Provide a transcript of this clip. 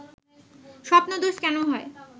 স্বপ্নদোষ কেন হয়